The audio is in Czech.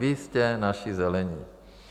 Vy jste naši Zelení.